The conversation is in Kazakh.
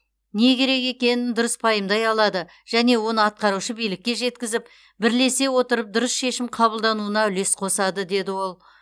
не керек екенін дұрыс пайымдай алады және оны атқарушы билікке жеткізіп бірлесе отырып дұрыс шешім қабылдануына үлес қосады деді ол